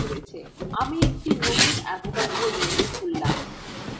আমি একটি নতুন avogadro window খুললাম